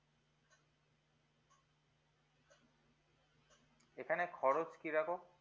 এখানে খরচ কি রকম